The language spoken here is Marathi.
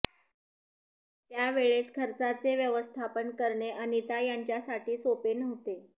त्यावेळेस खर्चाचे व्यवस्थापन करणे अनिता यांच्यासाठी सोपे नव्हते